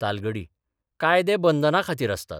तालगडी कायदे बंदनां खातीर आसतात.